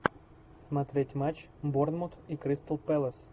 смотреть матч борнмут и кристал пэлас